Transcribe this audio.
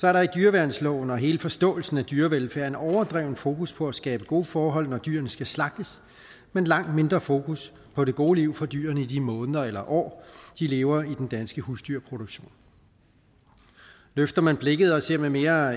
er der i dyreværnsloven og hele forståelsen af dyrevelfærd en overdreven fokus på at skabe gode forhold når dyrene skal slagtes men langt mindre fokus på det gode liv for dyrene i de måneder eller år de lever i den danske husdyrproduktion løfter man blikket og ser med mere